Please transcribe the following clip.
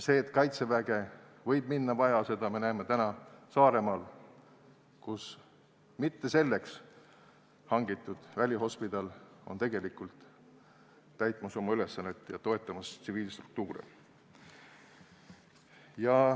Seda, et Kaitseväge võib minna vaja, me näeme praegu Saaremaal, kus on välihospidal, mis täidab oma ülesannet ja toetab tsiviilstruktuure.